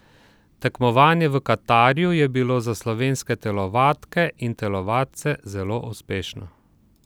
Tekmovanje v Katarju je bilo za slovenske telovadke in telovadce zelo uspešno.